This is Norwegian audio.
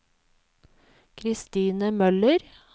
Christine Møller